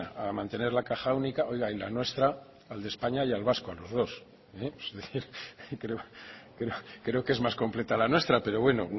a mantener la caja única oiga y la nuestra al de españa y al vasco a los dos es decir creo que es más completa la nuestra pero bueno